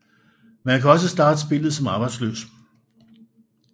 Man kan også starte spillet som arbejdsløs